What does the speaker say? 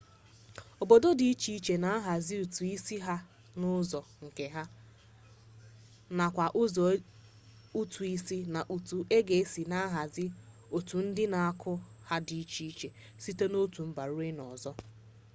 obodo di iche iche na-ahazi ụtụ isi ha n'ụzọ nke ha nakwa ụgwọ ụtụ isi na etu e si ahazi otu ndị na-akwụ ya dị iche site n'otu mba ruo n'ọzọ